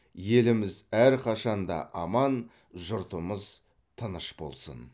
еліміз әрқашанда аман жұртымыз тыныш болсын